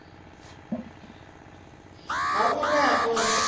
ha u rea khovhe u